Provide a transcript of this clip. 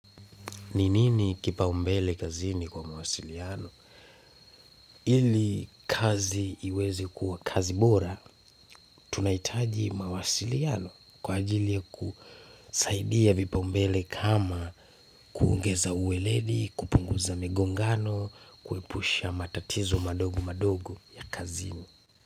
Ni nini kipaumbele kazini kwa mawasiliano? Ili kazi iweze kuwa kazi bora, tunahitaji mawasiliano kwa ajili ya kusaidia vipaumbele kama kuongeza uweledi, kupunguza migongano, kuepusha matatizo madogo madogo ya kazini.